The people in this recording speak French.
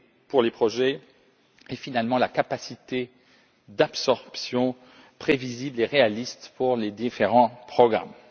pour les projets et, finalement, la capacité d'absorption prévisible et réaliste pour les différents programmes.